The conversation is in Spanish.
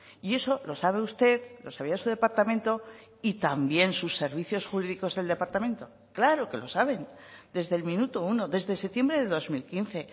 y eso lo sabe usted lo sabía su departamento y también sus servicios jurídicos del departamento claro que lo saben desde el minuto uno desde septiembre de dos mil quince